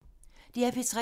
DR P3